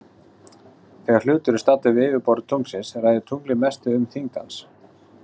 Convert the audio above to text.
Þegar hlutur er staddur við yfirborð tunglsins ræður tunglið mestu um þyngd hans.